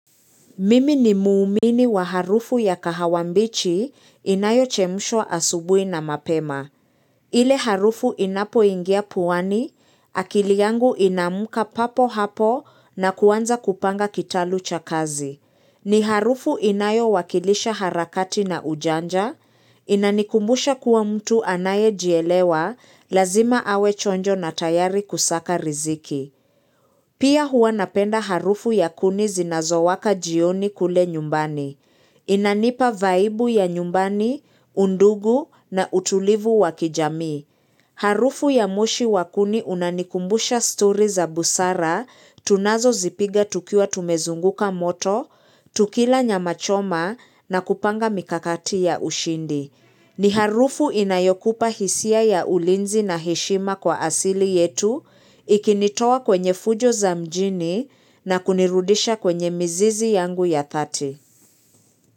Mimi ni muumini wa harufu ya kahawambichi inayo chemusho asubui na mapema. Ile harufu inapo ingia puwani, akili yangu inamuka papo hapo na kuwanza kupanga kitalu cha kazi. Ni harufu inayo wakilisha harakati na ujanja, inanikumbusha kuwa mtu anaye jielewa, lazima awe chonjo na tayari kusaka riziki. Pia huanapenda harufu ya kuni zinazowaka jioni kule nyumbani. Inanipa vaibu ya nyumbani, undugu na utulivu wakijami. Harufu ya moshi wa kuni unanikumbusha story za busara tunazo zipiga tukiwa tumezunguka moto, tukila nyama choma na kupanga mikakati ya ushindi. Ni harufu inayokupa hisia ya ulinzi na heshima kwa asili yetu ikinitoa kwenye fujo za mjini na kunirudisha kwenye mzizi yangu ya 30.